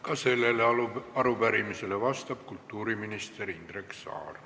Ka sellele arupärimisele vastab kultuuriminister Indrek Saar.